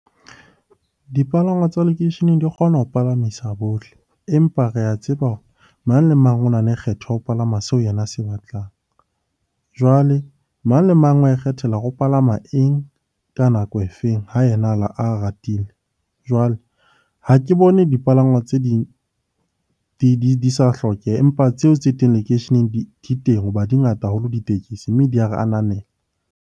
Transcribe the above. Dipalangwa tsa lekeisheneng di kgona ho palamisa bohle, empa re a tseba hore mang le mang o na le kgetho ya ho palama seo yena a se batlang. Jwale mang le mang wa ikgethela hore o palama eng ka nako e feng? Ha yena a ratile. Jwale ha ke bone dipalangwa tse ding di sa hlokeha, empa tseo tse teng lekeisheneng di teng ho ba di ngata haholo ditekesi, mme di a re ananela.